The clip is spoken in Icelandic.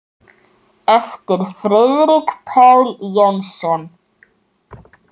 eftir Friðrik Pál Jónsson